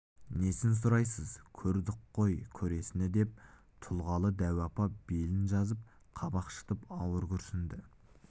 несін сұрайсыз көрдік кой көресіні деп тұлғалы дәу апа белін жазып қабак шытып ауыр күрсінді